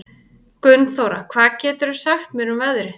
Gunnþóra, hvað geturðu sagt mér um veðrið?